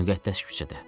Müqəddəs küçədə.